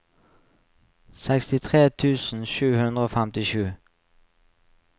sekstitre tusen sju hundre og femtisju